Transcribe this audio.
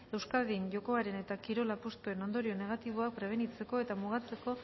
euskadin jokoaren eta kirol apustuen ondorio negatiboak prebenitzeko eta mugatzeko